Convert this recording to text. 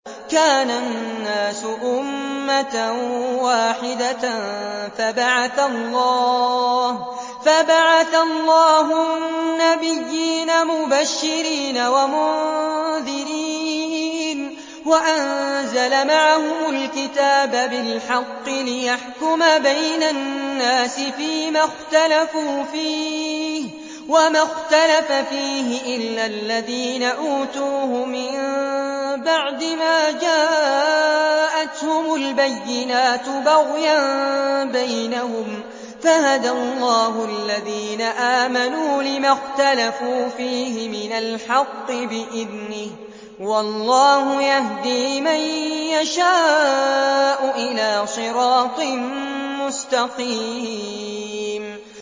كَانَ النَّاسُ أُمَّةً وَاحِدَةً فَبَعَثَ اللَّهُ النَّبِيِّينَ مُبَشِّرِينَ وَمُنذِرِينَ وَأَنزَلَ مَعَهُمُ الْكِتَابَ بِالْحَقِّ لِيَحْكُمَ بَيْنَ النَّاسِ فِيمَا اخْتَلَفُوا فِيهِ ۚ وَمَا اخْتَلَفَ فِيهِ إِلَّا الَّذِينَ أُوتُوهُ مِن بَعْدِ مَا جَاءَتْهُمُ الْبَيِّنَاتُ بَغْيًا بَيْنَهُمْ ۖ فَهَدَى اللَّهُ الَّذِينَ آمَنُوا لِمَا اخْتَلَفُوا فِيهِ مِنَ الْحَقِّ بِإِذْنِهِ ۗ وَاللَّهُ يَهْدِي مَن يَشَاءُ إِلَىٰ صِرَاطٍ مُّسْتَقِيمٍ